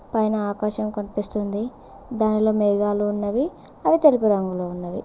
పైన ఆకాశం కనిపిస్తుంది దానిలో మేఘాలు ఉన్నవి అవి తెలుపు రంగులో ఉన్నవి.